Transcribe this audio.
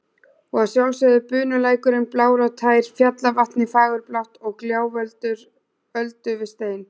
Og að sjálfsögðu bunulækurinn blár og tær, fjallavatnið fagurblátt og gjálfur öldu við stein.